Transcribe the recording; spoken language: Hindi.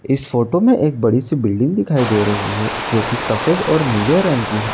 इस फ़ोटो में एक बड़ी सी बिल्डिंग दिखाई दे रही है जो कि सफ़ेद और नीले रंग की है।